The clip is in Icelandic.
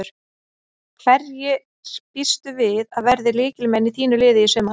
Hverjir býstu við að verði lykilmenn í þínu liði í sumar?